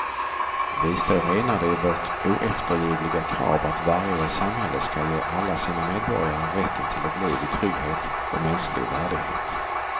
Vi står enade i vårt oeftergivliga krav att varje samhälle skall ge alla sina medborgare rätten till ett liv i trygghet och mänsklig värdighet.